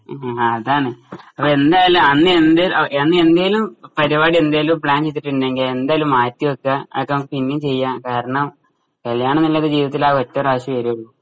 അ ആ അതാണ് അപ്പൊ ന്തായാലും അന്ന് എന്തേ അന്ന് എന്തേലും പരിപാടി എന്തേലും പ്ലാൻ ചെയ്തിട്ടുണ്ടെങ്കിൽ എന്തായാലും മാറ്റിവെക്കുക അതൊക്കെ നമ്മക്ക് പിന്നേം ചെയ്യാം കാരണം കല്യാണം ന്നുള്ളത് നമ്മുടെ ജീവിതത്തിൽ ഒറ്റ പ്രാവശ്യവേ വരുവുള്ളു